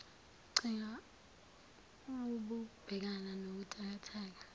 qhinga wukubhekana nobuthakathaka